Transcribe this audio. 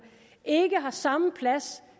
ikke har samme plads